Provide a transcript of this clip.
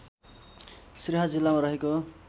सिराहा जिल्लामा रहेको